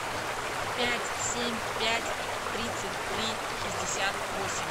пять семь пять тридцать три шестьдесят восемь